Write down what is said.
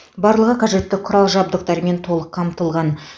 барлығы қажетті құрал жабдықтармен толық қамтылған